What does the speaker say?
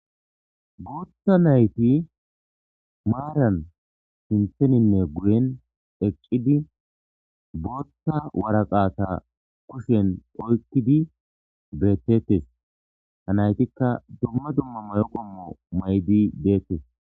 Gutha nayti maranne guyen eqidi botha waraqata kuahen oykidi betetes ha naytika dumma dumma mayo qommo mayidi detes